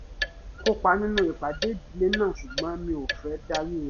mo kópa nínú ìpàdé ìdílé náà ṣùgbọ́n mi ò fẹ́ darí rẹ̀